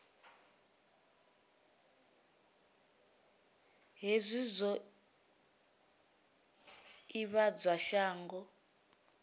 hezwi zwi o ivhadzwa shango